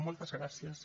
moltes gràcies